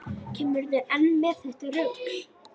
Kemurðu enn með þetta rugl!